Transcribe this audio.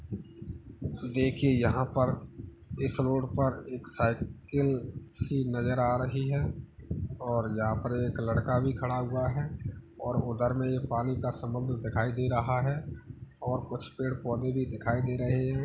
देखिए यहाँ पर इस रोड पर एक साइकिल सी नजर आ रही है और यहाँ पर एक लड़का भी खड़ा हुआ है और उधर में यह पानी का समुद्र दिखाई दे रहा है और कुछ पेड़-पौधे भी दिखाई दे रहे हैं।